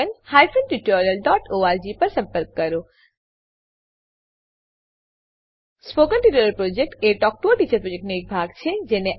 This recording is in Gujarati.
spoken tutorial project talk to a teacher પ્રોજેક્ટનો એક ભાગ છે